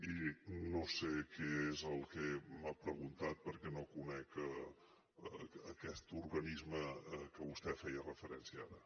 i no sé què és el que m’ha preguntat perquè no conec aquest organisme a què vostè feia referència ara